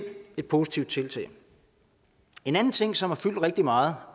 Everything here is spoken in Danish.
et positivt tiltag en anden ting som har fyldt rigtig meget